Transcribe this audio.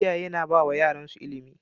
Iyaye na bawa yaransu ilimi